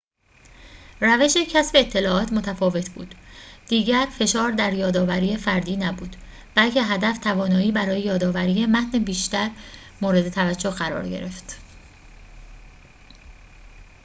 روش کسب اطلاعات متفاوت بود دیگر فشار در یادآوری فردی نبود بلکه هدف توانایی برای یادآوری متن بیشتر مورد توجه قرار گرفت